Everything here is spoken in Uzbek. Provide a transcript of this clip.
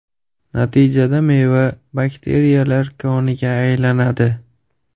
Natijada meva bakteriyalar koniga aylanadi.